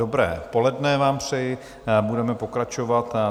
Dobré poledne vám přeji, budeme pokračovat.